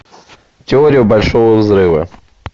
теория большого взрыва